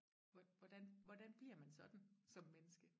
hvor hvordan hvordan bliver man sådan som menneske